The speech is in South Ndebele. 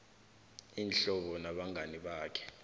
iinhlobo nabangani bakhe